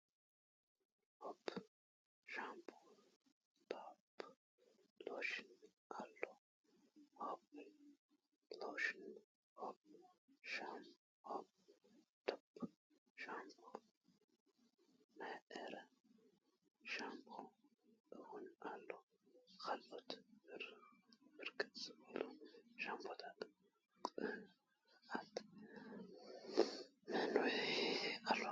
ሆፕ ሻምፖ ዶፕ ለሽን አሎ ሆፕ ለሽን አሎ ዶፕ ሻምፖ ናይ ዕረ ሻምፖ እዉን አለዉ ካልኦት ብርክት ዝበሉ ሻምፖታት ቅንአት መንዉሒ አሎ።